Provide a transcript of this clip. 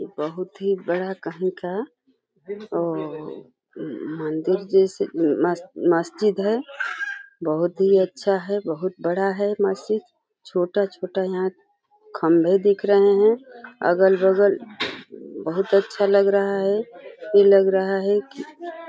बहोत ही बडा कही का अअअअ मंदिर जैसा मस्जि मस्जिद है। बहोत ही अच्छा है। बहोत बड़ा है मस्जिद। छोटा-छोटा यहाँ खम्बे दिख रहे हैं। अगल-बगल बहोत अच्छा लग रहा है। ये लग रहा है कि --